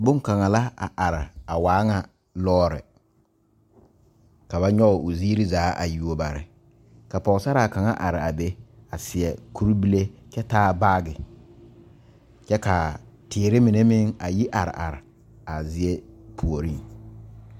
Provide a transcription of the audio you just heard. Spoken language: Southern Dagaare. Bon kaŋa la a are a waa ŋa loɔre ka ba nyoŋ o ziiri zaa yuo bare ka Pɔgesera kaŋa are a be a seɛ kur bile kyɛ taa baagi kyɛ kaa teere mine meŋ yi are are a zie puori.